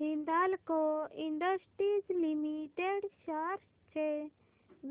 Hindalco industries limited shares चे